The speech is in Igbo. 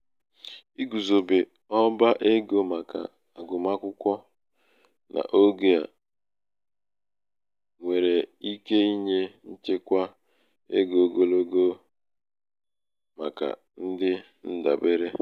igùzòbe ọba egō màkà àgụmakwụkwọ n’ogè um nwèrè ike inyē nchekwa egō oglogo egō oglogo ogè màkà ndị ndàbere